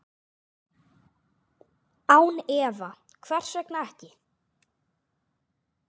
Án efa, hvers vegna ekki?